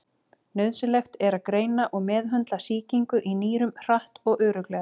Nauðsynlegt er að greina og meðhöndla sýkingu í nýrum hratt og örugglega.